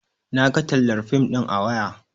Naga tallar fim ɗin a waya